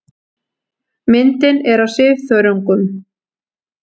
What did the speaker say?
Myndin er af svifþörungum.